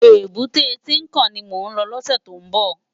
Ébùté Tinkán ni mó n lò lòsè tó n bò